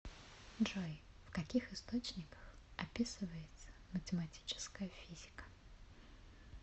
джой в каких источниках описывается математическая физика